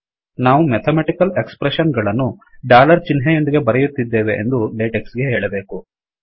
ನಾವು mathematical expression ಗಳನ್ನು dollar ಚಿಹ್ನೆಯೊಂದಿಗೆ ಬರೆಯುತ್ತಿದ್ದೇವೆ ಎಂದು ಲೆಟೆಕ್ಸ್ ಗೆ ಹೇಳಬೇಕು